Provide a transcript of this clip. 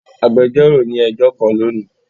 Agbẹjọro ni ẹjọ kan loni.